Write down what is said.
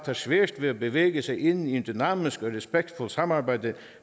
har svært ved at bevæge sig ind i et dynamisk og respektfuldt samarbejde